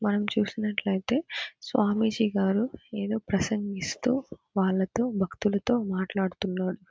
మనం చూసినట్లయితే స్వామీజీ గారు ఎదో ప్రసంగిస్తూ వాళ్లతో భక్తులతో మాట్లాడుతున్నడు.